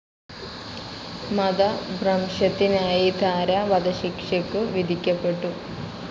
മതഭ്രംശത്തിനായി ദാര വധശിക്ഷക്കു വിധിക്കപ്പെട്ടു.